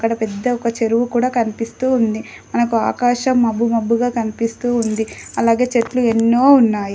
అక్కడ పెద్ద ఒక చెరువు కుడా కనిపిస్తూ ఉంది. మనకు ఆకాశం మబ్బు మబ్బుగా కనిపిస్తూ ఉంది. అలాగే చెట్లు ఎన్నో ఉన్నాయి.